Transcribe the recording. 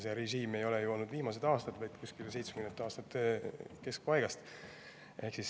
See režiim ei ole ju olnud viimased aastad, vaid kuskil 1970. aastate keskpaigast.